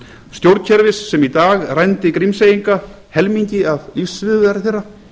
stjórnkerfis sem í dag rændi grímseyinga helmingi af lífsviðurværi þeirra